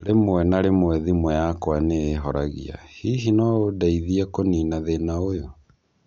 Rĩmwe na rĩmwe thimũ yakwa ni ĩhorangĩa, hihi no ũndeithie kũniina thĩna ũyũ